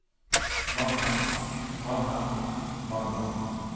mannen mannen mannen